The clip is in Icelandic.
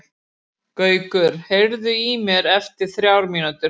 Gaukur, heyrðu í mér eftir þrjár mínútur.